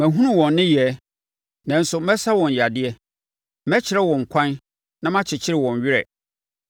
Mahunu wɔn nneyɛɛ, nanso mɛsa wɔn yadeɛ. Mɛkyerɛ wɔn kwan na makyekye wɔn werɛ,